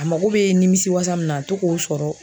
A mago bɛ nimisiwasa min na a to k'o sɔrɔ